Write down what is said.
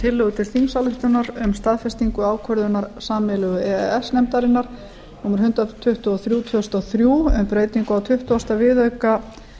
tillögu til þingsályktunar um staðfestingu ákvörðunar sameiginlegu e e s nefndarinnar númer hundrað tuttugu og þrjú tvö þúsund og þrjú um breytingu á tuttugasta viðauka við